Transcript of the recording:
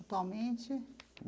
Atualmente?